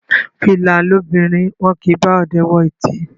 Fìlà lobìnrin, wọn kì í bá ọdẹ wọ ìtí.